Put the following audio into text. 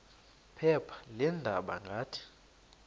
phepha leendaba ngathi